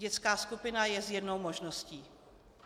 Dětská skupina je jednou z možností.